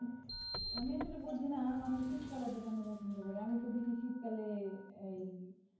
আমি আসলে বুঝি না মানুষ শীতকাল এত কেন পছন্দ করে আমি তো দেখি শীতকালে